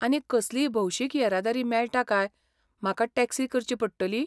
आनी कसलीय भौशिक येरादारी मेळटा काय म्हाका टॅक्सी करची पडटली?